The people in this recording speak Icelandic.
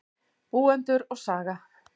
Búendur og saga.